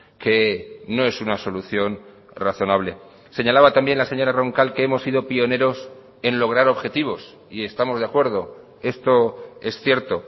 que no es una solución razonable señalaba también la señora roncal que hemos sido pioneros en lograr objetivos y estamos de acuerdo esto es cierto